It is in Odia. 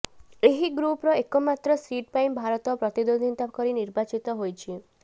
ଏହି ଗ୍ରୁପର ଏକମାତ୍ର ସିଟ୍ ପାଇଁ ଭାରତ ପ୍ରତିଦ୍ୱନ୍ଦ୍ୱିତା କରି ନିର୍ବାଚିତ ହୋଇଛି